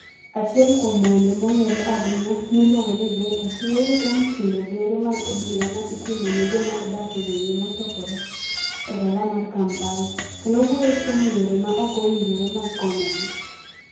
Achiel kuom wende mong'ere ahinya, miluongo ni "Ghetto", wuoyo kuom timbe gero mag obila ma itimo ne joma odak e gwenge mosokore e dala mar Kampala, kendo wuoyo kuom yore ma ok owinjore mag konyogi.